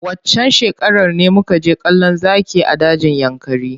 Waccan shekarar ne muka je kallon zaki a dajin yankari.